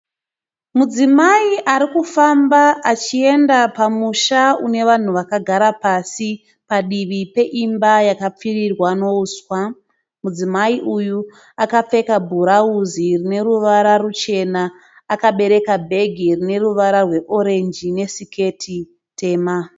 Mudzimayi arikufamba achiyenda pamusha une vanhu vakagara pasi padivi peimba yakapfirirwa nouswa. Mudzimayi uyu akapfeka burauzi rine ruvara ruchena akabereka bag rine ruvara rweorenji nesiketi tema.